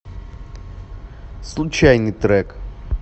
случайный трек